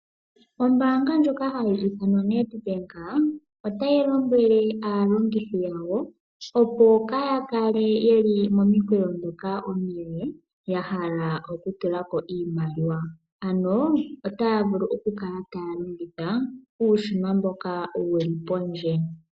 Ombaanga ndjoka hayi ithanwa Nedbank otayi lombwele aalongithi yawo, opo kaaya kale momikweyo ndhoka omile ya hala oku tula ko iimaliwa, ano otaya vulu oku kala taya longitha uushina mboka wu li pondje.